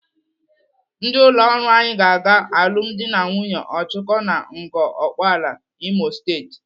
Ndị ụlọ ọrụ anyị ga-aga alụmdi na nwunye Ọchụko na Ngor Okpala, Imo State.